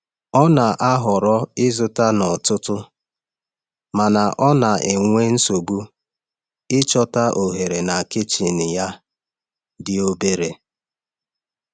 Ọ na-ahọrọ ịzụta n’ọtụtụ mana ọ na-enwe nsogbu ịchọta ohere na kichin ya dị obere.